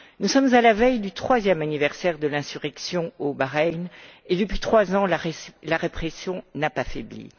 Nous sommes à la veille du troisième anniversaire de l'insurrection au Bahreïn et, depuis trois ans, la répression n'a pas faibli.